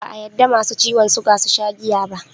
Ba a yadda Masu ciwan suga susha jiya ba